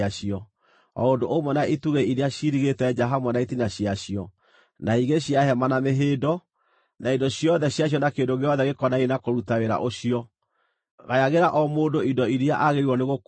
o ũndũ ũmwe na itugĩ iria ciirigĩte nja hamwe na itina ciacio, na higĩ cia hema na mĩhĩndo, na indo ciothe ciacio na kĩndũ gĩothe gĩkonainie na kũruta wĩra ũcio. Gayagĩra o mũndũ indo iria agĩrĩirwo nĩ gũkuua.